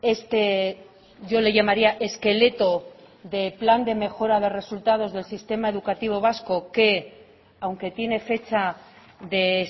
este yo le llamaría esqueleto de plan de mejora de resultados del sistema educativo vasco que aunque tiene fecha de